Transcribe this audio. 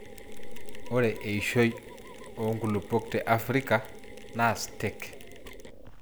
ore eishoi oo nkulupuok te Africa naa stake .